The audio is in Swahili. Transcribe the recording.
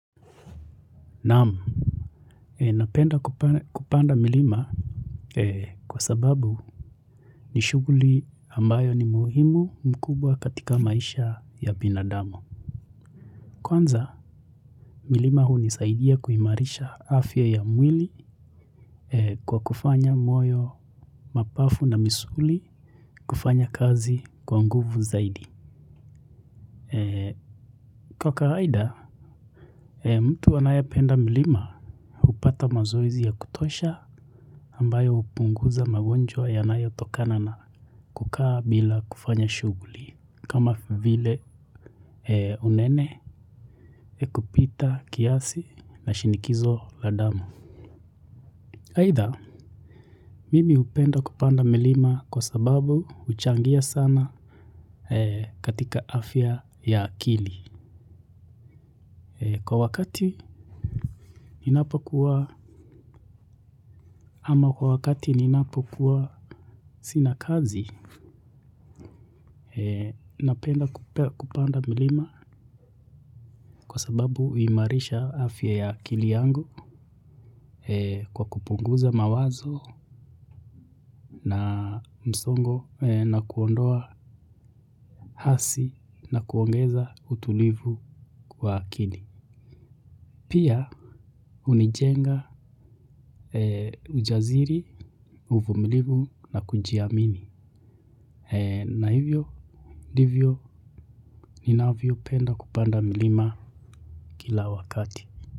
Naam napenda kupanda milima kwa sababu ni shughuli ambayo ni muhimu mkubwa katika maisha ya binadamu. Kwanza milima hunisaidia kuimarisha afya ya mwili kwa kufanya moyo mapafu na misuli kufanya kazi kwa nguvu zaidi kwa kawaida mtu anayependa milima hupata mazoezi ya kutosha ambayo hupunguza magonjwa yanayotokana na kukaa bila kufanya shughuli kama vile unene kupita kiasi na shinikizo la damu. Aidha, mimi hupenda kupanda milima kwa sababu huchangia sana katika afya ya akili. Kwa wakati ninapo kuwa, ama kwa wakati ni napo kuwa sina kazi, napenda kupanda milima kwa sababu huimarisha afya ya akili yangu kwa kupunguza mawazo na msongo na kuondoa hasi na kuongeza utulivu kwa akili. Pia hunijenga ujasiri uvumilimu na kujiamini. Na hivyo ndivyo ninavyopenda kupanda milima kila wakati.